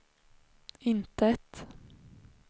intet